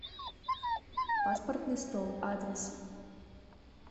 паспортный стол адрес